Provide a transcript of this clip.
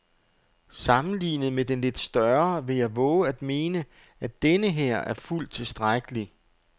Sammenlignet med den lidt større vil jeg vove at mene, at denneher er fuldt tilstrækkelig.